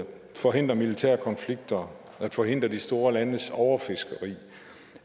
forhindre militære konflikter at forhindre de store landes overfiskeri